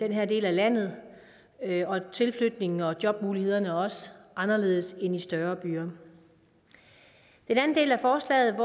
her dele af landet og tilflytningen og jobmulighederne er også anderledes end i større byer den anden del af forslaget